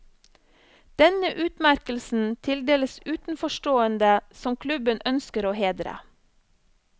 Denne utmerkelsen tildeles utenforstående som klubben ønsker å hedre.